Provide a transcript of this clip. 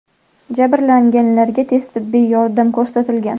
Jabrlanganlarga tez tibbiy yordam ko‘rsatilgan.